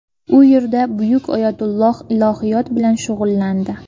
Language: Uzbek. U yerda buyuk oyatulloh ilohiyot bilan shug‘ullandi.